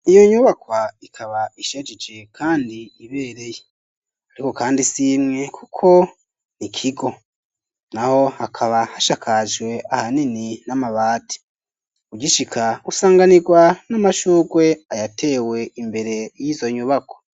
Iyo nyubakwa ikaba ishajije, kandi ibereye, ariko kandi simwe kuko ni ikigo na ho hakaba hashakajwe ahanini n'amabati, ujishika usanganirwa n'amashurwe ayatewe imbere y'izo nyubako.